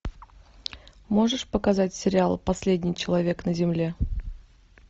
можешь показать сериал последний человек на земле